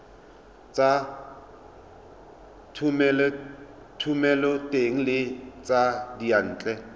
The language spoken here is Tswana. tsa thomeloteng le tsa diyantle